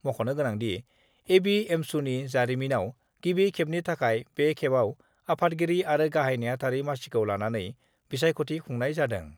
मख'नो गोनांदि, एबिएमसुनि जारिमिनयाव गिबि खेबनि थाखाय बे खेबाव आफादगिरि आरो गाहाइ नेहाथारि मासिखौ लानानै बिसायख'थि खुंनाय जादों।